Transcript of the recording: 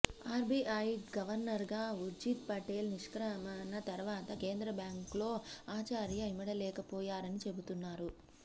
RBI గవర్నర్గా ఊర్జిత్ పటేల్ నిష్క్రమణ తర్వాత కేంద్ర బ్యాంక్లో ఆచార్య ఇమడలేకపోయారని చెబుతున్నారు